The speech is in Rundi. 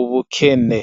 ubukene .